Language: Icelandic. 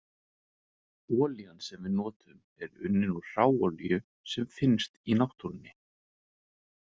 Olían sem við notum er unnin úr hráolíu sem finnst í náttúrunni.